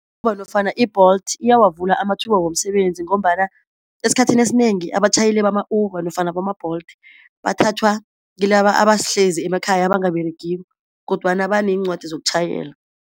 nofana i-Bolt iyawavula amathuba womsebenzi ngombana esikhathini esinengi abatjhayeli bama-Uber nofana bama-Bolt bathathwa kilaba abahlezi emakhaya abangaberegiko kodwana baneencwadi zokutjhayela.